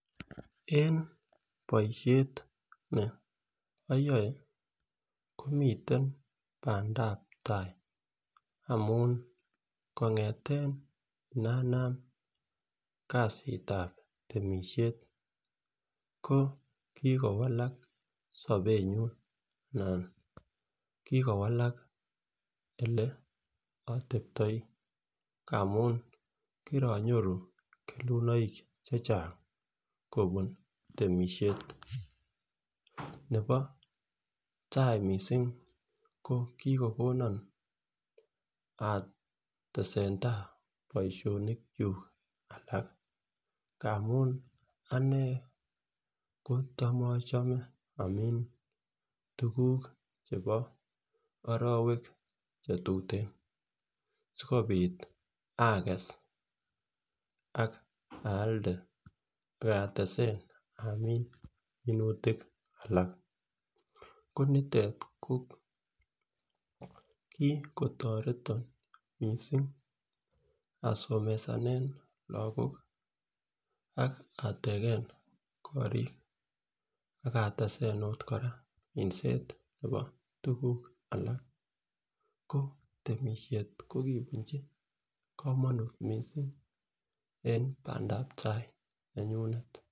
En boishet ne oyoe komiten pandep tai amun kongeten nanam kasitab temishet ko kikowalak sobenyun anan kikowala ole oteptoi ngamun kironyoru kelunoik chechang kobun temishet, nebo tai missing ko kikokonon atesentai boishonik kuk alak amun anee kotam ochome amin tukuk chebo orowek chetuten sikopit ages ak alde ak atesestai amin minutik alak ko nitet ko kikotoreton missing asomesane. Lokok ak ateken Korik ak ateset okot koraa minset nebo tukuk alak ko minset ko kibunchi komonut missing en pamdap tai nenyunet.